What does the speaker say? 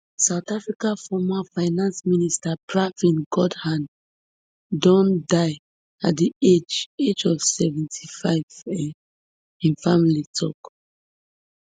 south africa former finance minister pravin gordhan don die at di age age of seventy-five um im family tok